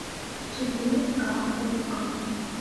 четыре к окко